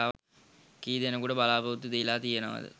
කී දෙනෙක්ට බලා‍පොරොත්තු දීලා තියෙනවද